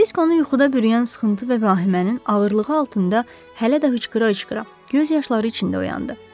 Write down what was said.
Kirisk onu yuxuda bürüyən sıxıntı və vahimənin ağırlığı altında hələ də hıçqıra-hıçqıra göz yaşları içində oyandı.